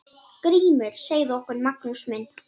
GRÍMUR: Segðu okkur, Magnús minn!